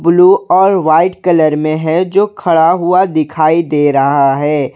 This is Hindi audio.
ब्लू और वाइट कलर में है जो खड़ा हुआ दिखाई दे रहा है।